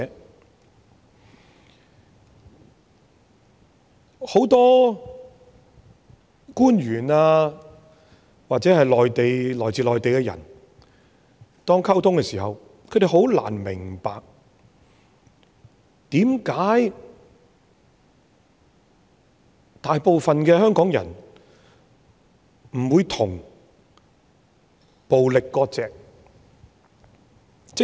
對於很多官員或來自內地的人來說，當我們與他們溝通的時候，他們很難明白為甚麼大部分香港人不與暴力割席。